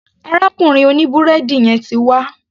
Arákùnrin òní búrẹ́dì yẹn ti wá.